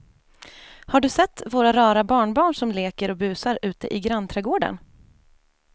Har du sett våra rara barnbarn som leker och busar ute i grannträdgården!